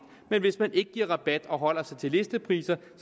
men hvis man ikke giver rabat og holder sig til listepriser